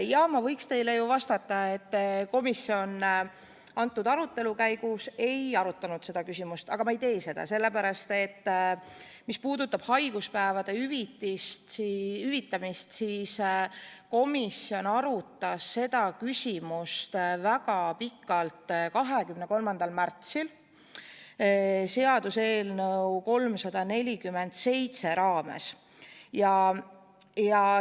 Jah, ma võiks teile ju vastata, et komisjon selle arutelu käigus seda küsimust ei arutanud, aga ma ei tee seda – sellepärast, et haiguspäevade hüvitamisega seoses arutas komisjon seda küsimust väga pikalt 23. märtsil seaduseelnõu 347 raames.